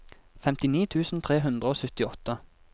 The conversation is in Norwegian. femtini tusen tre hundre og syttiåtte